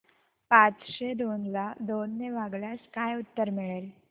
पाचशे दोन ला दोन ने भागल्यास काय उत्तर मिळेल